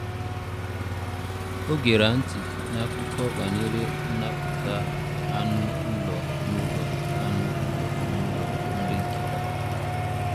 Ọ gera ntị n’akụkọ banyere nnapụta anụ ụlọ n’ụlọ anụ ụlọ n’ụlọ nri nkịta.